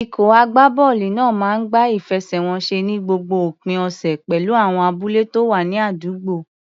Ikọ̀ agbábọ́ọ̀lù náà máa ń gbá ìfẹsẹ̀wọnsẹ̀ ní gbogbo òpin ọ̀sẹ̀ pẹ̀lú àwọn abúlé tó wà ní àdúgbò.